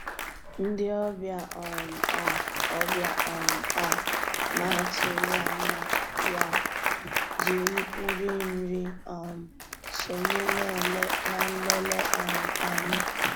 Ndị́ ọ̀bịá um á ọ̀bịá um á ná-àtụ́ghị́ ànyá yá jì nrí nri um sonyéé ná nlélè um ànyị́.